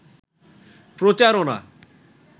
প্রচারনা